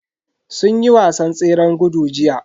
Sun yi wasan tseren gudu jiya.